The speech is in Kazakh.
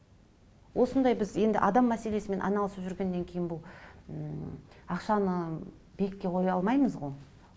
осындай біз енді адам мәселесімен айналысып жүргеннен кейін бұл ммм ақшаны биікке қоя алмаймыз ғой